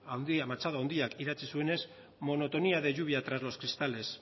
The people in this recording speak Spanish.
machado handiak idatzi zuenez monotonía de lluvia tras los cristales